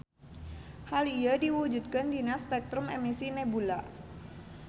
Hal ieu diwujudkeun dina spektrum emisi nebula.